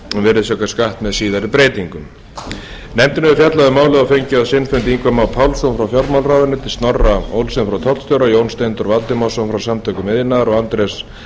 virðisaukaskatt með síðari breytingum nefndin hefur fjallað um málið og fengið á sinn fund ingva má pálsson frá fjármálaráðuneyti snorra olsen frá tollstjóra jón steindór valdimarsson frá samtökum iðnaðarins og andrés